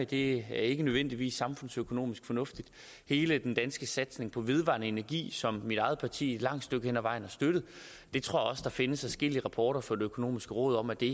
det er ikke nødvendigvis samfundsøkonomisk fornuftigt hele den danske satsning på vedvarende energi som mit eget parti et langt stykke hen ad vejen har støttet jeg tror også at der findes adskillige rapporter fra det økonomiske råd om at det